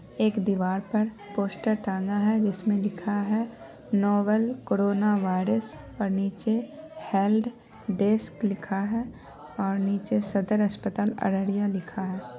एक दीवार पर पोस्टर टांगा है जिसमें लिखा है नोबल कोरोना वायरस और नीचे हेल्प डेस्क लिखा है और नीचे सदर अस्पताल अररिया लिखा है।